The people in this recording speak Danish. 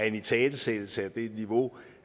er en italesættelse af det niveau